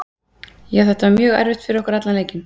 Já þetta var mjög erfitt fyrir okkur allan leikinn.